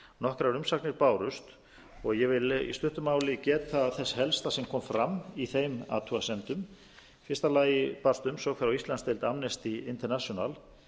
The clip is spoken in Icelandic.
nokkrar umsagnir bárust og ég vil í stuttu máli geta þess helsta sem kom fram í þeim athugasemdum í fyrsta lagi barst umsögn frá íslandsdeild amnesty international